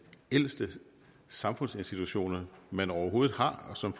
ældste samfundsinstitutioner man overhovedet har og som